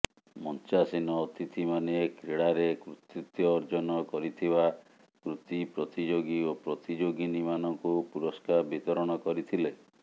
ମଞ୍ଚାସୀନ ଅତିଥିମାନେ କ୍ରୀଡାରେ କୃତିତ୍ୱ ଅର୍ଜନ କରିଥିବା କୃତି ପ୍ରତିଯୋଗି ଓ ପ୍ରତିଯୋଗିନୀ ମାନଙ୍କୁ ପୁରସ୍କାର ବିତରଣ କରିଥିଲେ